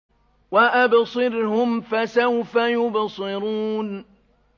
وَأَبْصِرْهُمْ فَسَوْفَ يُبْصِرُونَ